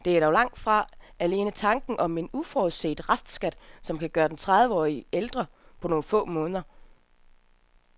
Det er dog langt fra alene tanken om en uforudset restskat, som kan gøre en tredive år ældre på nogle få måneder.